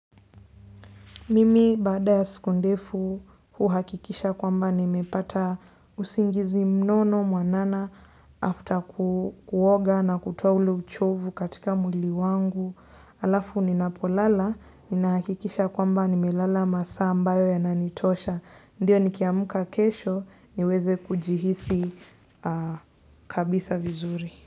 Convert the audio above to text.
Mimi baada ya siku ndefu huhakikisha kwamba nimepata usingizi mnono mwanana after kuoga na kutoa ule uchovu katika mwili wangu. Alafu ni napolala ninahakikisha kwamba nimelala masaa ambayo yananitosha. Ndiyo nikiamka kesho niweze kujihisi kabisa vizuri.